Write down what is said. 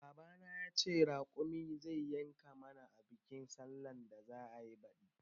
Baba na ya ce raƙumi zai yanka mana a bikin sallan da za'ayi baɗi